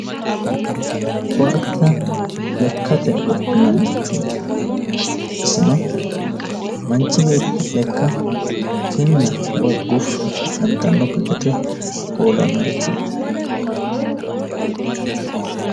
Koatte lekkate wodhinannirichooti isino, manchi beetti lekka kinna woy guffa gantannokki gede hoolannorichooti.